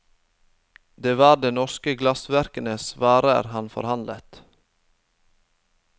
Det var de norske glassverkenes varer han forhandlet.